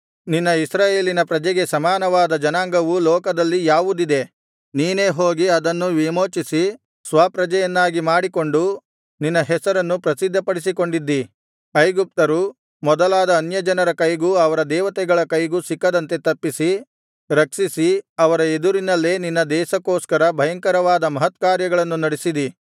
ನಿನ್ನ ಇಸ್ರಾಯೇಲಿನ ಪ್ರಜೆಗೆ ಸಮಾನವಾದ ಜನಾಂಗವು ಲೋಕದಲ್ಲಿ ಯಾವುದಿದೆ ನೀನೇ ಹೋಗಿ ಅದನ್ನು ವಿಮೋಚಿಸಿ ಸ್ವಪ್ರಜೆಯನ್ನಾಗಿ ಮಾಡಿಕೊಂಡು ನಿನ್ನ ಹೆಸರನ್ನು ಪ್ರಸಿದ್ಧಪಡಿಸಿಕೊಂಡಿದ್ದಿ ಐಗುಪ್ತರು ಮೊದಲಾದ ಅನ್ಯಜನರ ಕೈಗೂ ಅವರ ದೇವತೆಗಳ ಕೈಗೂ ಸಿಕ್ಕದಂತೆ ತಪ್ಪಿಸಿ ರಕ್ಷಿಸಿ ಅವರ ಎದುರಿನಲ್ಲೇ ನಿನ್ನ ದೇಶಕ್ಕೋಸ್ಕರ ಭಯಂಕರವಾದ ಮಹತ್ಕಾರ್ಯಗಳನ್ನು ನಡಿಸಿದಿ